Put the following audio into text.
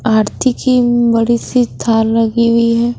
आरती की ऊं बड़ी सी थाल लगी हुई है।